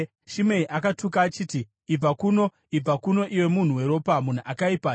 Shimei akatuka achiti, “Ibva kuno, ibva kuno, iwe munhu weropa, munhu akaipa!